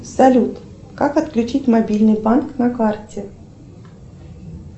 салют как отключить мобильный банк на карте